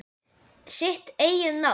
Sitt eigið nafn.